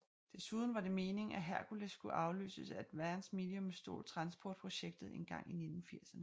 Desuden var det meningen at Hercules skulle afløses af Advanced Medium STOL Transport projektet engang i 1980erne